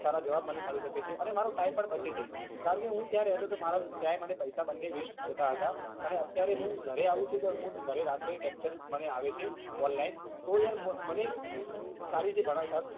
સારા જવાબ મને મળી શકે છે અને મારો કારણ કે હું ત્યાં રહેતો હતો મારા પૈસા waste જતા હતા અને અત્યારે હું ઘરે આવું છું મને રાત્રે lecture આવે છે online તો યાર મને સારી રીતે ભણાવતા